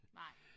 Nej